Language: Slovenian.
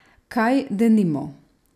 Kaj, denimo?